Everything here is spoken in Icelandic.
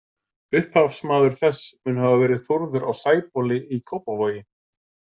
Upphafsmaður þess mun hafa verið Þórður á Sæbóli í Kópavogi.